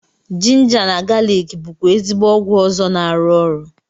Jinja na galik bụkwa ezigbo ọgwụ ọzọ na-arụ ọrụ